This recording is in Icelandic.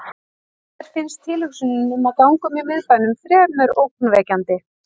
Mér fannst tilhugsunin um að ganga um í miðbænum fremur ógnvekjandi.